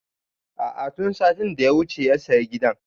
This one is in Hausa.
A'a tun satin da ya wuce ya saya gidan